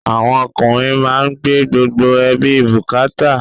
Àwọn ọkùnrin má ń gbé gbogbo ẹbí bukata